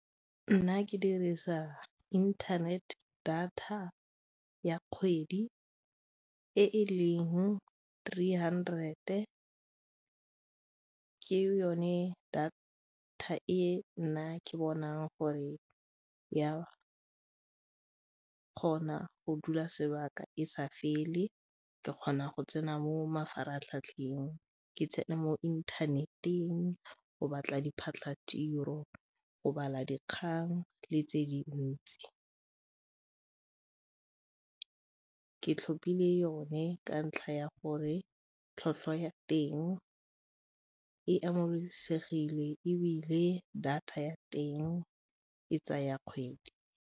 Nna ke dirisa internet data ya kgwedi e e leng three hundred-e, ke yone data e nna ke bonang gore ya kgona go dula sebaka e sa fele, ke kgona go tsena mo mafaratlhatlheng, ke tsena mo inthaneteng go batla diphatlhatiro, go bala dikgang le tse dintsi. Ke tlhopile yone ka ntlha ya gore tlhwatlhwa ya teng e amogelesegile ebile data ya teng e tsaya kgwedi.